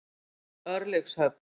Örlygshöfn